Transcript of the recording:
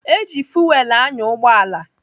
Eji fuwel anya ụgbọala.